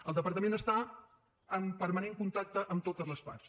el departament està en permanent contacte amb totes les parts